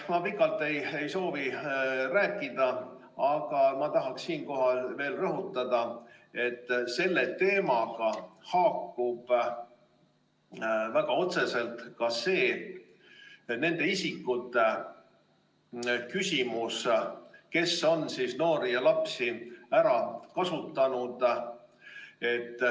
Ma pikalt ei soovi rääkida, aga tahan siinkohal veel rõhutada, et selle teemaga haakub väga otseselt ka nende isikute küsimus, kes on noori ja lapsi ära kasutanud.